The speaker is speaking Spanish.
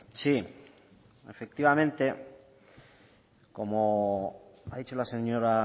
sí efectivamente como ha dicho la señora